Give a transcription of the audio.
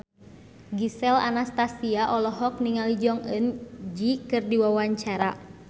Gisel Anastasia olohok ningali Jong Eun Ji keur diwawancara